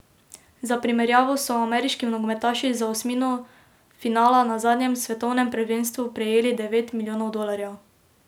Za primerjavo so ameriški nogometaši za osmino finala na zadnjem svetovnem prvenstvu prejeli devet milijonov dolarjev.